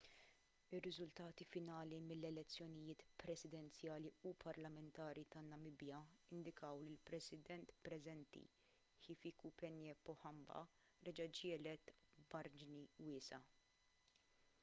ir-riżultati finali mill-elezzjonijiet presidenzjali u parlamentari tan-namibja indikaw li l-president preżenti hifikepunye pohamba reġa' ġie elett b'marġni wiesgħa